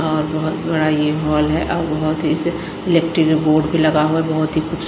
और बहुत बड़ा ये बॉल है और बहुत ही इलेक्ट्रिक बोर्ड पे लगा हुआ है बहुत ही कुछ--